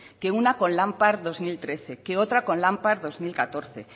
que una con lampar dos mil trece que otra con lampar dos mil catorce